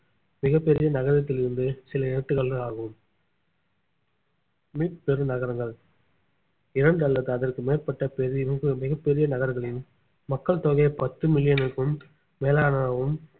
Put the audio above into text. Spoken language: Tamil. மிகப் பெரிய நகரத்தில் இருந்து சில எழுத்துக்காட்டுகள் ஆகும் மீப்பெரு நகரங்கள் இரண்டு அல்லது அதற்கு மேற்பட்ட பெரி~ மிகப் பெரிய நகரங்களின் மக்கள் தொகையை பத்து மில்லியனுக்கும் மேலானதாகவும்